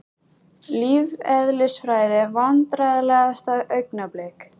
Lífeðlisfræði Vandræðalegasta augnablik?